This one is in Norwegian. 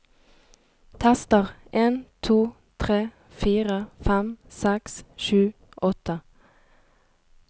Tester en to tre fire fem seks sju åtte